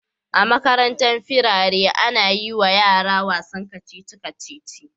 A Makarantan firari ana yiwa yara wasan kacici kacici